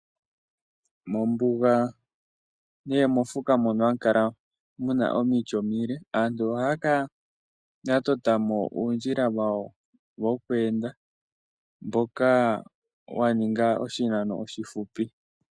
Mombuga nee mofuka mono ohamu kala omiti omile, aantu ohaa kala ya totamo uundjila wawo wokweenda mboka waninga oshinano oshifupi.